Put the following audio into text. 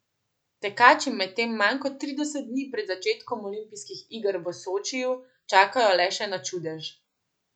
Tekači medtem manj kot trideset dni pred začetkom olimpijskih iger v Sočiju čakajo le še na čudež.